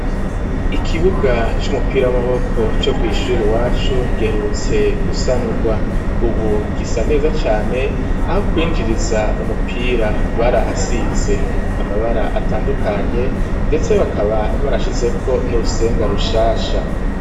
Ikibuga c'umupira w'amaboko co kw'ishuri iwacu giherutse gusanurwa ubu gisa neza cane aho kwinjiriza umupira barahasize amabara atandukanye ndetse bakaba barashizeko n'urusenga rushasha.